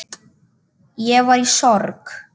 Ég var í sorg.